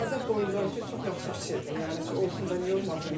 Balaca boylular üçün çox yaxşı fikirdir, yəni olsun da niyə olmasın.